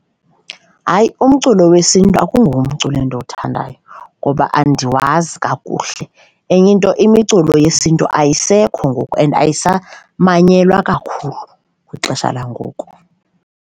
Hayi, umculo wesiNtu akungomculo endiwuthandayo ngoba andiwazi kakuhle, enye into imiculo yesiNtu ayisekho ngoku and ayisamanyelwa kakhulu kwixesha langoku.